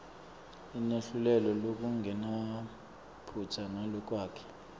ineluhlelo lolungenamaphutsa nalolwakheke